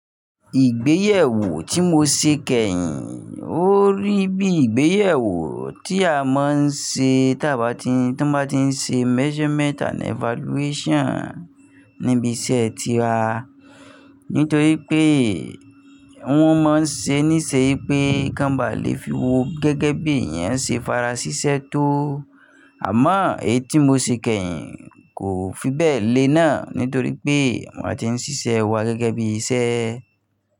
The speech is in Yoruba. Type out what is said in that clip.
Ìgbéyẹ̀wó tí mo ṣe kẹ́yìn ò rí bí ìgbéyẹ̀wó tí a máa ń ṣe tí wọ́n bá ti ń ṣe measurement and evaluation níbi iṣẹ́ tiwa. Nítorí pé wọ́n máa ń ṣe níṣe pé kan bá lè fi wo gẹ́gẹ́ bí èèyàn ṣe fara síṣẹ́ tó. Àmọ́ èyí tí mo ṣe kẹ́yìn kò fi bẹ́ẹ̀ lé náà nítorí pé wọ́n máa ti ń ṣiṣẹ́ wa gẹ́gẹ́ bí iṣẹ́